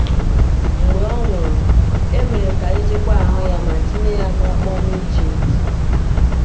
Mgbe ọ nwụrụ, e mere ka a chekwaa ahụ ya ma tinye ya n’ọkpọ n’Ejipt.